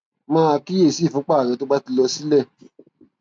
máa kíyè sí ìfúnpá rẹ tó bá ti lọ sílẹ